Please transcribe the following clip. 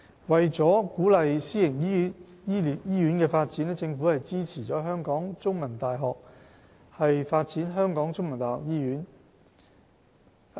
為鼓勵私營醫院發展，政府支持香港中文大學發展香港中文大學醫院的建議。